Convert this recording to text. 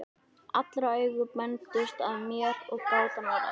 Allra augu beindust að mér og gátan var ráðin.